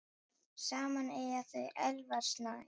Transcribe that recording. Saman eiga þau Elvar Snæ.